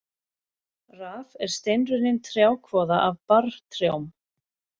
Raf er steinrunnin trjákvoða af barrtrjám.